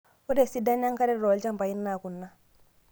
Ore esidano enkare tolchampai naa kuna;